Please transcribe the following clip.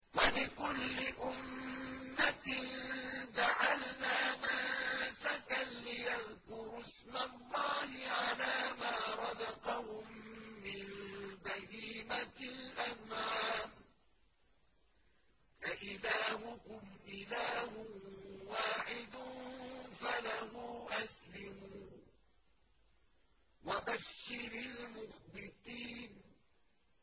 وَلِكُلِّ أُمَّةٍ جَعَلْنَا مَنسَكًا لِّيَذْكُرُوا اسْمَ اللَّهِ عَلَىٰ مَا رَزَقَهُم مِّن بَهِيمَةِ الْأَنْعَامِ ۗ فَإِلَٰهُكُمْ إِلَٰهٌ وَاحِدٌ فَلَهُ أَسْلِمُوا ۗ وَبَشِّرِ الْمُخْبِتِينَ